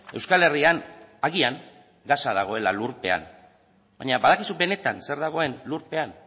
euskal herrian agian gasa dagoela lurpean baina badakizue benetan zer dagoen lurpean